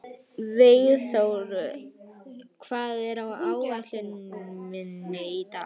Vígþór, hvað er á áætluninni minni í dag?